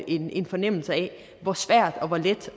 en en fornemmelse af hvor svært eller hvor let